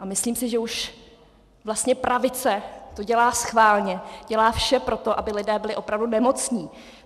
A myslím si, že už vlastně pravice to dělá schválně, dělá vše pro to, aby lidé byli opravdu nemocní.